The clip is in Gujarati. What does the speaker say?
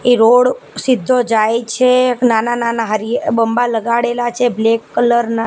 એ રોડ સિધ્ધો જાય છે નાના નાના હરિ બંબા લગાડેલા છે બ્લેક કલર ના.